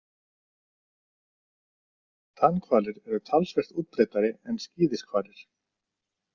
Tannhvalir eru talsvert útbreiddari en skíðishvalir.